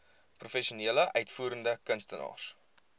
professionele uitvoerende kunstenaars